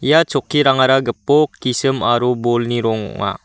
ia chokkirangara gipok gisim aro bolni rong ong·a.